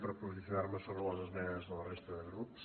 per posicionar me sobre les esmenes de la resta de grups